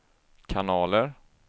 kanaler